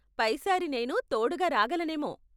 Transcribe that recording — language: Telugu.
పై సారి నేనూ తోడుగా రాగలనేమో.